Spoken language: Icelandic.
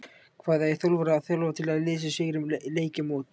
Hvað eiga þjálfarar að þjálfa til að liðið sigri leiki og mót?